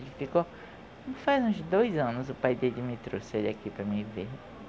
Ele ficou... faz uns dois anos o pai dele me trouxe ele aqui para mim ver.